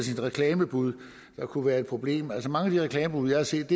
reklamebuddet der kunne være et problem altså mange af de reklamebud jeg har set